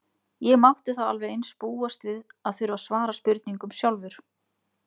Ég mátti þá alveg eins búast við að þurfa að svara spurningum sjálfur.